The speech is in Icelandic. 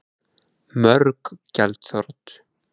Mörg gjaldþrot